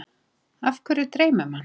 Af hverju dreymir mann?